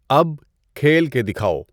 اب کھیل کے دکھاؤ۔